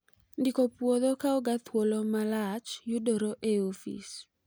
Ndiko puodho kawoga thuolo malach yudore e ofis